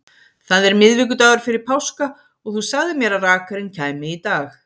Það er miðvikudagur fyrir páska og þú sagðir mér að rakarinn kæmi í dag.